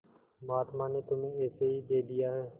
महात्मा ने तुम्हें ऐसे ही दे दिया है